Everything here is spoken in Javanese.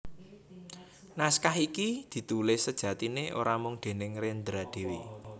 Naskah iki ditulis sejatiné ora mung déning Rendra dhéwé